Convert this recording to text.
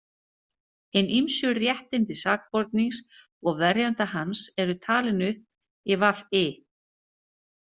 Hin ýmsu réttindi sakbornings og verjanda hans eru talin upp í VI.